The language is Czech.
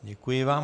Děkuji vám.